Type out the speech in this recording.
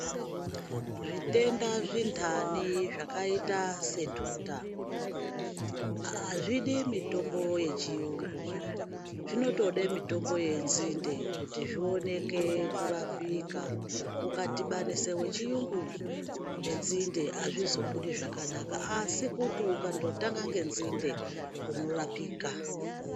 Zvitenda zvintani zvakaita sentuta azvidi mutombo yechiyungu. Zvinotode mitombo yenzinde kuti zvioneke kurapika. Ukadhibanisa wechiyungu nenzinde azvizobudi zvakanaka asi ukandotanga ngenzinde unorapika.